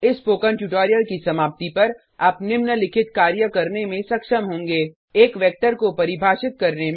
इस spoken tutorial की समाप्ति पर आप निम्नलिखित कार्य करने में सक्षम होंगे एक वेक्टर को परिभाषित करने में